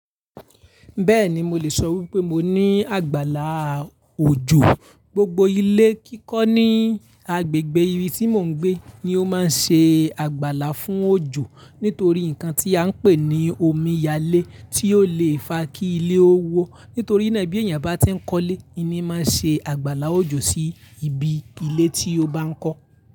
Bẹ́ẹ̀ni, mo lè sọ wípé mo ní àgbàlá òjò. Gbogbo ilé kíkọ́ ní agbègbè ibi tí mò ń gbé ni ó máa ń ṣe àgbàlá fún òjò nítorí ǹkan tí a ń pè ní omi yale tí ó le è fa kí ilé ó wó. Nítorí náà bí èèyàn bá tí ń kọ́ ilé, inni máa ń ṣe àgbàlá òjò sí ibi ilé tí ó bá ń kọ́.